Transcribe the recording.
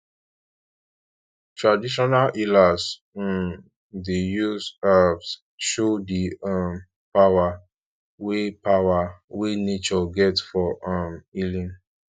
traditional healers um dey use herbs show di um power wey power wey nature get for um healing